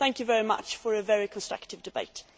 Thank you very much for a very constructive debate.